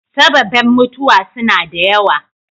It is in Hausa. Sababen mutuwa suna da yawa.